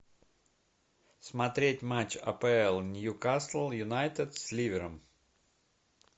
смотреть матч апл ньюкасл юнайтед с ливером